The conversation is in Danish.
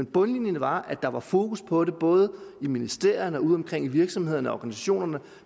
bundlinjen var at der var fokus på det både i ministerierne og udeomkring i virksomhederne og organisationerne